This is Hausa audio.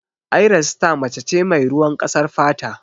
Ayra sita mace ce mai ruwan ƙasar fata.